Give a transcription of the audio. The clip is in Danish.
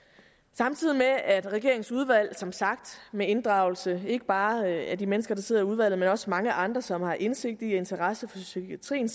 samtidig med at regeringens udvalg som sagt med inddragelse ikke bare af de mennesker der sidder i udvalget men også af mange andre som har indsigt i og interesse for psykiatrien